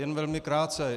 Jen velmi krátce.